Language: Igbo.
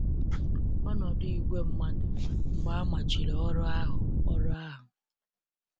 Ọnọdụ igwe mmadụ mgbe amachiri ọrụ ahụ ọrụ ahụ